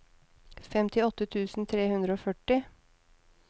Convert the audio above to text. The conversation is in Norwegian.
femtiåtte tusen tre hundre og førti